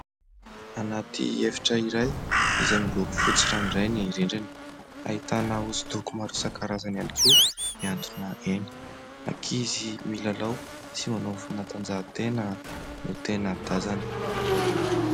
Anaty efitra iray, izay miloko fotsy ranoray ny rindrina, ahitana hosodoko maro isankarazany ihany koa, miantona eny. Ankizy milalao sy manao fanatanjahantena no tena tazana.